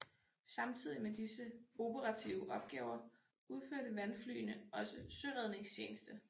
Samtidig med disse operative opgaver udførte vandflyene også søredningstjeneste